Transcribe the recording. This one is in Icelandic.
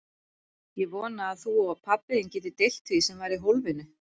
Ég vona að þú og pabbi þinn getið deilt því sem var í hólfinu.